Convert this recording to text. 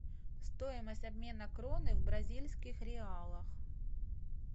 стоимость обмена кроны в бразильских реалах